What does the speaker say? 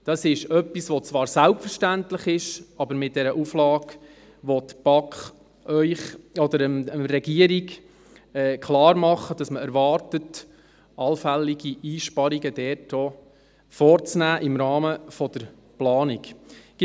» Das ist etwas, das zwar selbstverständlich ist, aber mit dieser Auflage, will die BaK Ihnen oder der Regierung klar machen, dass man erwartet, allfällige Einsparungen dort auch im Rahmen der Planung vorzunehmen.